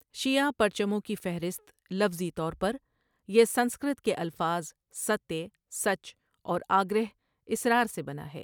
شیعهٔ پرچموں کی فہرست لفظی طور پر، یہ سنسکرت کے الفاظ ستیہ، 'سچ'، اور آگرہہ، 'اصرار' سے بنا ہے۔